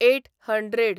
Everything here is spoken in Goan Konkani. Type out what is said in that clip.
eight hundred